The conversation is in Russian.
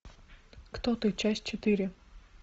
кто ты часть четыре